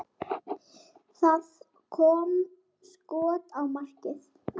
Það kom skot á markið.